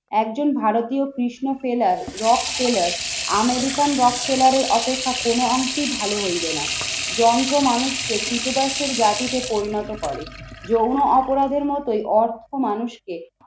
একজন ভারতীয় কৃষ্ণ ট্রেলার রক টেলার আমেরিকান রক টেলারের অপেক্ষা কোন অংশেই ভালো হইবে না। যন্ত্র মানুষকে ক্রীতদাসের জাতিতে পরিণত করে। যৌন অপরাধের মতোই অর্থ মানুষকে